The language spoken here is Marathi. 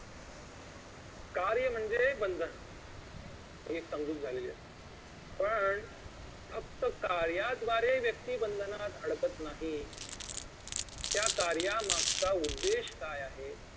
कार्य म्हणजे बंधन ही एक समजूत झालेली आहे पण फक्त कार्याद्वारे व्यक्ती बंधनात अडकत नाही त्या कार्यामागचा उद्देश काय आहे